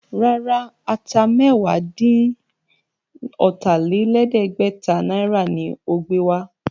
Rárá, Ata mẹ́wàá-dín-ọ̀tà-lé-lẹ̀ẹ́dẹ́gbẹ̀ta náírà ni ó gbé wá